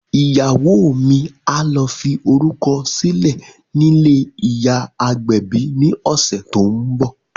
Ìyàwó mi á lọ fi orúkọ sílẹ̀ nílé ìyá agbẹ̀bi ni ọ̀sẹ̀ tó ń bọ̀